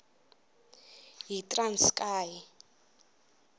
yitranskayi